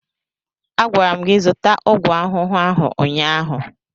A gwara m gị zụta ọgwụ ahụhụ ahụ ụnyaahụ!